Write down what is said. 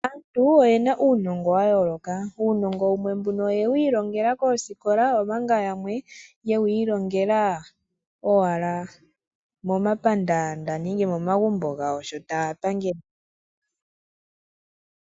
Aantu oyena uunongo wa yooloka uunongo wumwe mbuno oyewu ilongela koosikola omanga yamwe yewiilongela owala momapandaanda nenge momagumbo gawo sho taya pangele.